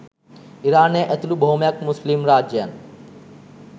ඉරානය ඇතුළු බොහොමයක් මුස්ලිම් රාජ්‍යයන්